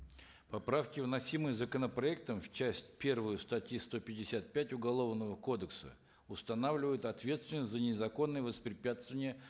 поправки вносимые законопроектом в часть первую статьи сто пятьдесят пять уголовного кодекса устанавливают ответственность за незаконное воспрепятствование